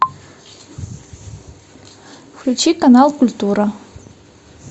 включи канал культура